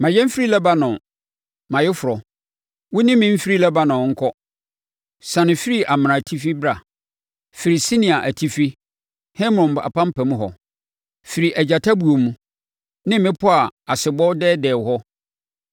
Ma yɛn mfiri Lebanon, mʼayeforɔ, wo ne me mfiri Lebanon nkɔ. Siane firi Amana atifi bra, firi Senir atifi, Hermon apampam hɔ, firi agyata buo mu ne mmepɔ a asebɔ dɛɛdɛɛ hɔ.